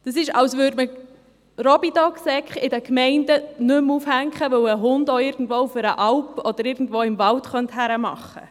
Das wäre, als würden in den Gemeinden keine Robidog-Säcke mehr aufgehängt, weil ein Hund sein Geschäft auch auf das Land oder in einem Wald machen.